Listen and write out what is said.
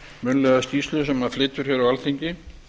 munnlega skýrslu sem hann flytur hér á alþingi